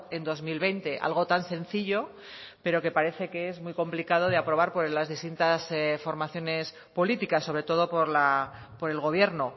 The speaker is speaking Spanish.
en dos mil veinte algo tan sencillo pero que parece que es muy complicado de aprobar por las distintas formaciones políticas sobre todo por el gobierno